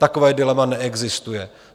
Takové dilema neexistuje.